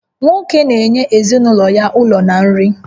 Nwoke na-enye ezinụlọ ya ụlọ na nri